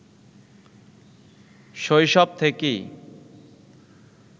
শৈশব থেকেই